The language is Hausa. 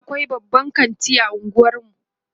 e akwai babban kanti a unguwarmu